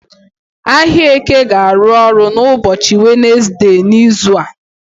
Ahịa Eke ga-arụ ọrụ n'ụbọchị Wenezde n'izu a.